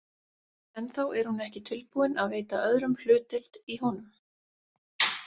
Ennþá er hún ekki tilbúin að veita öðrum hlutdeild í honum.